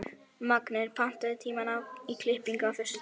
Magngeir, pantaðu tíma í klippingu á föstudaginn.